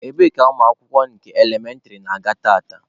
Ebee ka ụmụ akwụkwọ nke elementịrị na-aga tata?